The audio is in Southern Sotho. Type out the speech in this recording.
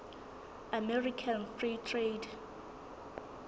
american free trade